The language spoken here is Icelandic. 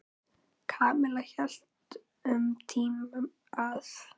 Kamilla hélt um tíma að